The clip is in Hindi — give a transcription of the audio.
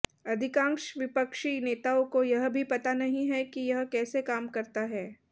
अधिकांश विपक्षी नेताओं को यह भी पता नहीं है कि यह कैसे काम करता है